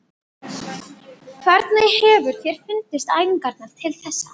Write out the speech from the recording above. Hvernig hefur þér fundist æfingarnar til þessa?